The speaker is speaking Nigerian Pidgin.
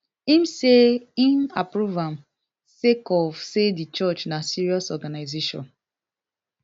im say im approve am sake of say di church na serious organisation